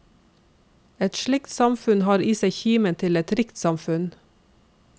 Et slikt samfunn har i seg kimen til et rikt samfunn.